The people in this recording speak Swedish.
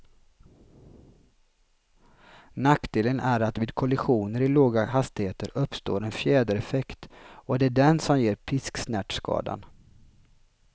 Nackdelen är att vid kollisioner i låga hastigheter uppstår en fjädereffekt, och det är den som ger pisksnärtskadan.